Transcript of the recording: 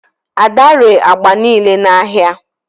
ada ree agba niile n'ahịa